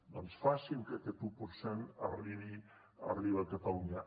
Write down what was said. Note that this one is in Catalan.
doncs facin que aquest un per cent arribi a catalunya